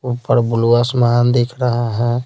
ऊपर ब्लू आसमान दिख रहा है।